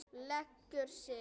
Leggur sig.